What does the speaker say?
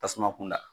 Tasuma kunda